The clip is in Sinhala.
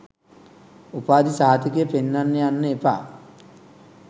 උපාධි සහතිකය පෙන්නන්න යන්න එපා